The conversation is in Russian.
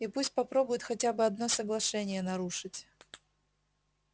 и пусть попробует хотя бы одно соглашение нарушить